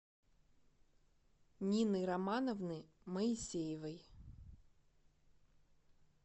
нины романовны моисеевой